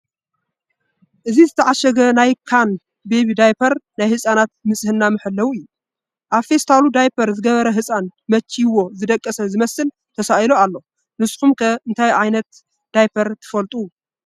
እዚ ዝተዓሸገ ናይ ካን ቤቢ ዳይፐር ናይ ህፃናት ንፅህና መሐለዊ እዩ፡፡ ኣብ ፌስታሉ ዳይፐር ዝገበረ ህፃን መቺይዎ ዝደቐሰ ዝመስል ተሳኢሉ ኣሎ፡፡ ንስኹም ከ እንታይ ዓ/ት ዳይፐር ትፈልጡ?